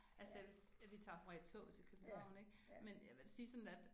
Altså jeg vil vi tager som regel toget til Købehavn ik men jeg vil da sige sådan at